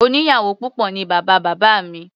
Oníyàwò púpọ̀ ní bàbá bábá mi.